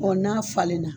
n'a falenna